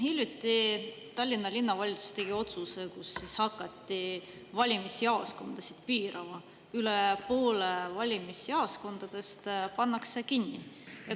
Hiljuti Tallinna Linnavalitsus tegi otsuse, mille kohaselt hakati valimisjaoskondade arvu piirama, üle poole valimisjaoskondadest pannakse kinni.